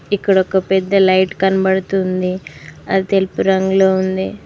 ఇక్కడ ఒక పెద్ద లైట్ కనబడుతుంది అది తెలుపు రంగులో ఉంది.